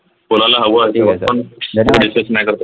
कोणाला नाही करतात